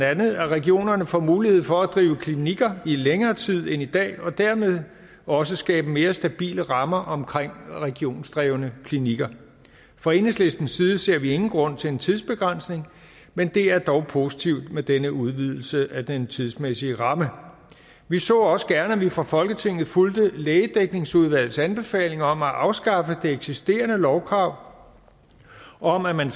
at regionerne får mulighed for at drive klinikker i længere tid end i dag og dermed også skabe mere stabile rammer omkring regionsdrevne klinikker fra enhedslistens side ser vi ingen grund til en tidsbegrænsning men det er dog positivt med denne udvidelse af den tidsmæssige ramme vi så også gerne at vi fra folketinget fulgte lægedækningsudvalgets anbefalinger om at afskaffe det eksisterende lovkrav om at man